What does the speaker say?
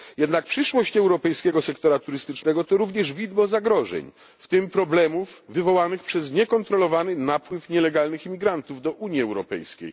Jednak przyszłość europejskiego sektora turystycznego to również widmo zagrożeń, w tym problemów wywołanych przez niekontrolowany napływ nielegalnych imigrantów do Unii Europejskiej.